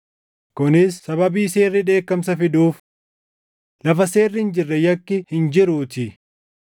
kunis sababii seerri dheekkamsa fiduuf. Lafa seerri hin jirre yakki hin jiruutii.